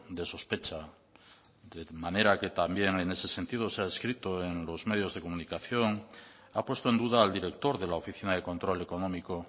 de sospecha de manera que también en ese sentido se ha escrito en los medios de comunicación ha puesto en duda al director de la oficina de control económico